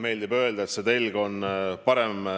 Ma ütlesin, et Eesti jätkab SKT-st 2% ja isegi rohkema panustamist.